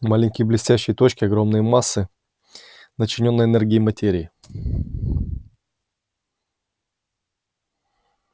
маленькие блестящие точки огромные массы начиненной энергией материи